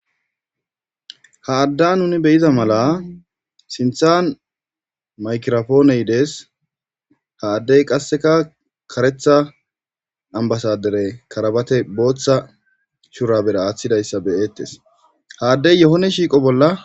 ha adda nuni beyiza mala sinthan maykirofooneydees ha addey qasseka karetha ambasadere karabate booththa shurabera aaththidayssa beyeettes haaddey yohone shiiqo bolla